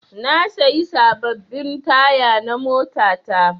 Na sayi sababbin taya na mota ta